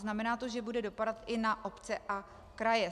Znamená to, že bude dopadat i na obce a kraje.